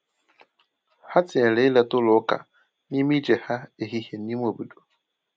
Ha tinyere ileta ụlọ ụka n’ime ije ha ehihie n’ime obodo.